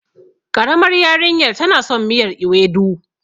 ƙaramar yarinyar tana son miyar ewedu.